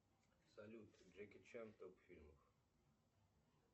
салют джеки чан топ фильмов